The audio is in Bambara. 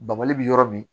Bbali bi yɔrɔ min